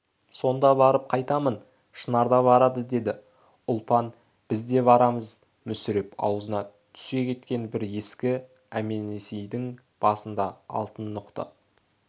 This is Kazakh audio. сонда барып қайтамын шынар да барады деді ұлпан біз де барамыз мүсіреп аузына түсе кеткен бір ескі әнменесенейдің басында алтын ноқта